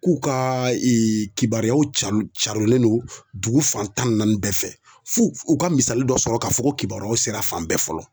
K'u ka kibaruyaw carin carinlen don dugu fan tan ni naani bɛɛ fɛ f'u ka misali dɔ sɔrɔ k'a fɔ ko kibaruyaw sera fan bɛɛ fɔlɔ.